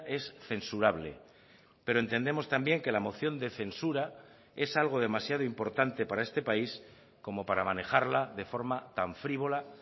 es censurable pero entendemos también que la moción de censura es algo demasiado importante para este país como para manejarla de forma tan frívola